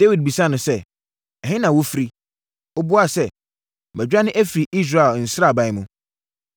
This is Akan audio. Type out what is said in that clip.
Dawid bisaa no sɛ, “Ɛhe na wofiri?” Ɔbuaa sɛ, “Madwane afiri Israel sraban mu.”